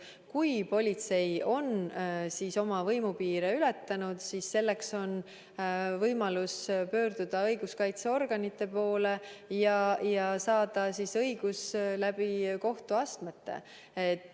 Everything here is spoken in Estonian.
Kui politsei on oma võimupiire ületanud, siis on inimestel võimalus pöörduda õiguskaitseorganite poole ja saada õigus läbi kohtuastmete.